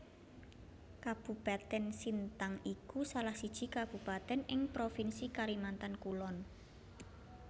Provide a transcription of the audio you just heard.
Kabupatèn Sintang iku salah siji kabupatèn ing provinsi Kalimantan Kulon